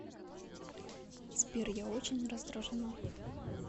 сбер я очень раздражена